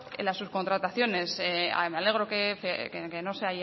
las subcontrataciones me alegro que no se